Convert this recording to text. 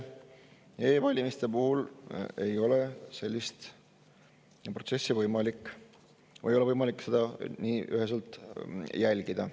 E-valimiste puhul ei ole seda protsessi võimalik üheselt jälgida.